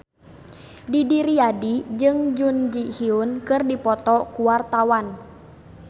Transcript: Didi Riyadi jeung Jun Ji Hyun keur dipoto ku wartawan